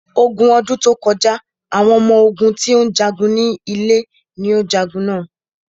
Ogun ọdún tó kọjá, àwọn ọmọ ogún tí ó ń jagun ní ilẹ̀ ní o ja ogun na.